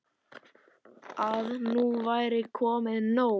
Að nú væri komið nóg.